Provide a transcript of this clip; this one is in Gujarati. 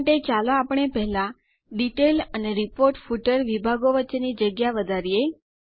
આ માટે ચાલો આપણે પહેલા ડિટેલ અને રિપોર્ટ ફૂટર વિભાગો વચ્ચેની જગ્યાને વધારીએ